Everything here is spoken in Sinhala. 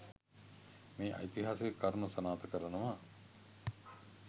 මේ ඓතිහාසික කරුණ සනාථ කරනවා.